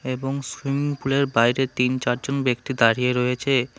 এবং swimming pool এর বাইরে তিন চারজন ব্যক্তি দাঁড়িয়ে রয়েছে।